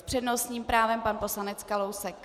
S přednostním právem pan poslanec Kalousek.